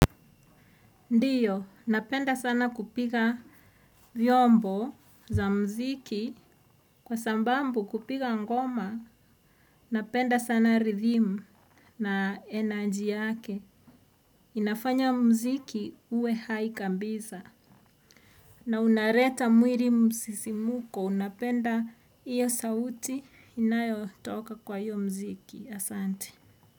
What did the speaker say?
Ndio, napenda sana kupiga vyombo za mziki. Kwa sababu kupiga ngoma, napenda sana 'rhythm' na 'energy' yake. Inafanya mziki uwe hai kabisa. Na unaleta mwili msisimuko, unapenda hiyo sauti inayotoka kwa hiyo mziki. Asante.